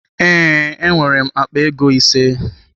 Ee, enwere m akpa ego ise.